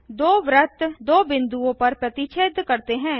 दो वृत्त दो बिंदुओं पर प्रतिच्छेद करते हैं